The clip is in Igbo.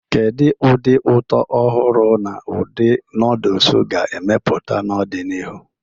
Kedu ụdị ụtọ ọhụrụ na ụdị noodles ga-emepụta n'ọdịnihu?